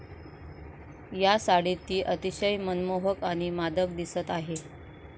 या साडीत ती अतिशय मनमोहक आणि मादक दिसत आहे.